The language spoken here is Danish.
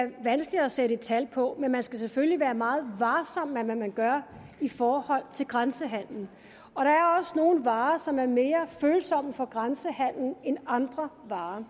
vanskeligt at sætte tal på men man skal selvfølgelig være meget varsom med hvad man gør i forhold til grænsehandelen og der er også nogle varer som er mere følsomme over for grænsehandel end andre varer